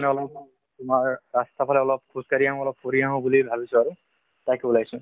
অলপ তোমাৰ ৰাস্তাৰফালে অলপ খোজকাঢ়ি আহো অলপ ফুৰি আহো বুলি ভাবিছো আৰু তাকেই ওলাছো